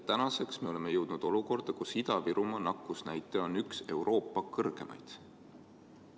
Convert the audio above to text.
Tänaseks oleme jõudnud olukorda, kus Ida-Virumaa nakatumisnäitaja on üks Euroopa kõrgemaid.